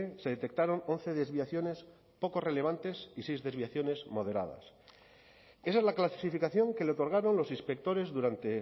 se detectaron once desviaciones poco relevantes y seis desviaciones moderadas esa es la clasificación que le otorgaron los inspectores durante